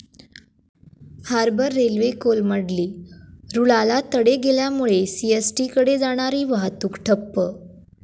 harbour railway कोलमडली, रुळाला तडे गेल्यामुळे सीएसटीकडे जाणारी वाहतूक ठप्प